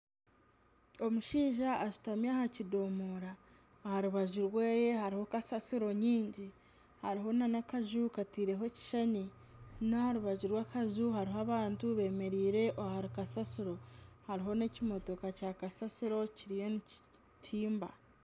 Omushaija ashutami aha kidomora aha rubaju rwe hariho kasaasiro nyingi hariho nana akaju kataireho ekishushani n'aha rubaju rw'akaju hariho abantu bemeereire aha kasaasiro hariho n'ekimotoka kya kasasiro kiriyo nikitimba